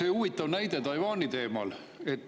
Aga huvitav näide Taiwani teemal.